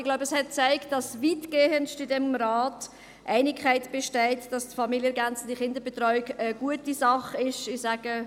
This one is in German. Ich glaube, sie hat gezeigt, dass in diesem Rat weitestgehend Einigkeit besteht, dass die familienergänzende Kinderbetreuung eine gute Sache ist.